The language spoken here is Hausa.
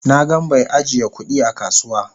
Na gan bai ajiya kudi a kasuwa.